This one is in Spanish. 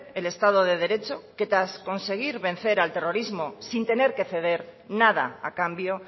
el estado de derecho que tras conseguir vencer al terrorismo sin tener que ceder nada a cambio